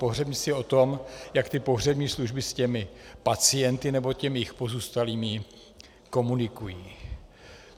Pohřebnictví je o tom, jak ty pohřební služby s těmi pacienty, nebo těmi jejich pozůstalými komunikují.